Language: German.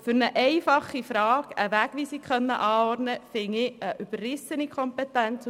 Für eine einfache Frage eine Wegweisung anordnen zu können, halte ich für eine überrissene Kompetenz.